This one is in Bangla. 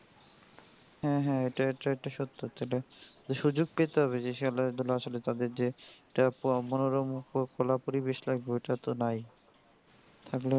হ্যাঁ হ্যাঁ এটাই হচ্ছে একটা সত্য যেটা সুযোগ পেতে হবে যে খেলাধুলা আসলে তাদের যে একটা মনোরম বা খোলা পরিবেশ লাগবে ওটা তো নাই, থাকলে তো করতে পারতো.